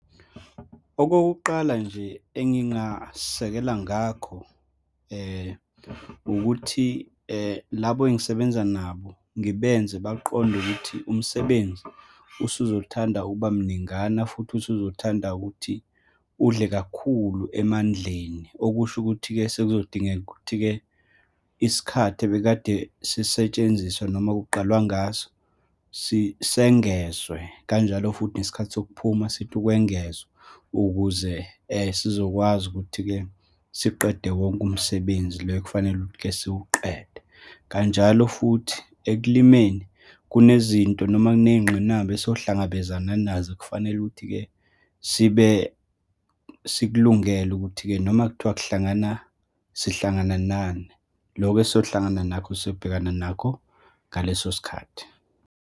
Okokuqala nje engingasekela ngakho, ukuthi labo engisebenza nabo ngibenze baqonde ukuthi umsebenzi usuzothanda ukuba mningana futhi usuzothanda ukuthi udle kakhulu emandleni. Okusho ukuthi-ke, sekuzodingeka ukuthi-ke, isikhathi ebekade sisetshenziswa, noma kuqalwa ngaso sengezwe, kanjalo futhi nesikhathi sokuphuma sithi ukwengezwa ukuze sizokwazi ukuthi-ke siqede wonke umsebenzi lo okufanele-ke ukuthi siwuqede. Kanjalo futhi ekulimeni, kunezinto noma kuney'ngqinamba esohlangabezana nazo ekufanele ukuthi-ke sibesikulungele ukuthi-ke noma kuthiwa kuhlangana, sihlangana nani, lokho esiyohlangana nakho sobhekana nakho ngaleso sikhathi.